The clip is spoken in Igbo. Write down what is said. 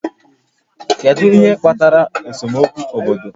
Kedu ihe kpatara esemokwu obodo?